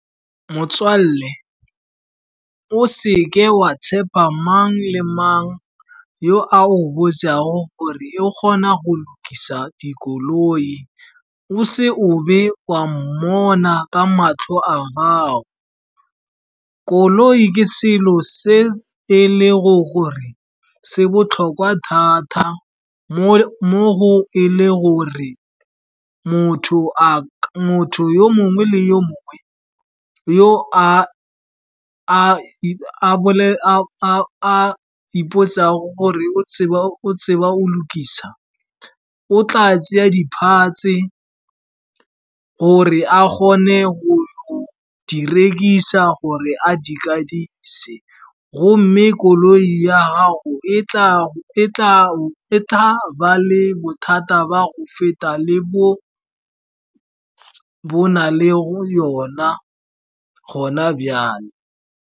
Motswalle, o seke wa tshepa mang le mang yo a o botsago gore e o kgona go lokisa dikoloi, o se obe wa mmona ka matlho a gago. Koloi ke selo se e le go gore se botlhokwa thata, mo go e le gore motho yo mongwe le yo mongwe, yo a a ipotsa gore o tseba go lokisa, o tla tsaya di-parts-e gore a kgone go di rekisa , goba a di kadise. Gomme koloi ya gago tla ba le bothata ba go feta le bo bo na le yona gona bjale.